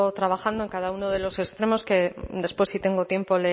trabajando en cada uno de los extremos que después si tengo tiempo